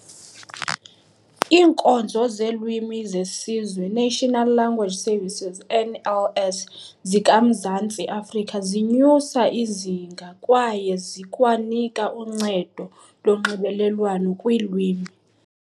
Iinkonzo zeLwimi zeSizwe, National Language Services "NLS", zika-Mzantsi Afrika zinyusa izinga kwaye zikwanika uncedo lonxibelelwano kwiilwimi.